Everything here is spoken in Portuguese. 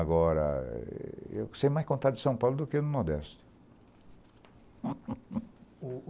Agora, eu sei mais contar de São Paulo do que do Nordeste.